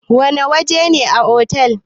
Wana waje ne otal?